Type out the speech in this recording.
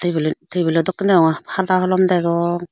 iban table dokken degong hada holom degong.